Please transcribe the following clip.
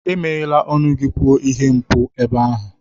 Emeghela ọnụ gị kwuo ihe mpou ebe ahụ!